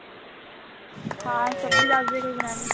ਹਾਂ ਸਬਜੀ ਦਸਦੇ ਕੋਈ ਬਨਾਨੀ